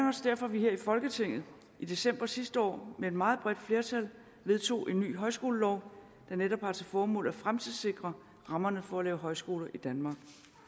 også derfor at vi her i folketinget i december sidste år med et meget bredt flertal vedtog en ny højskolelov der netop har til formål at fremtidssikre rammerne for at lave højskole i danmark